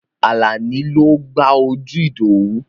Àlàní ló gbá ojú Ìdòwú.